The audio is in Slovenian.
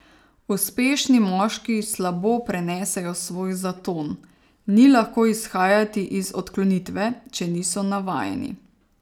Uspešni moški slabo prenesejo svoj zaton, ni lahko izhajati iz odklonitve, če niso navajeni.